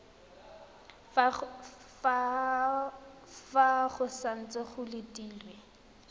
fa go santse go letilwe